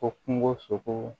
Ko kungo sogo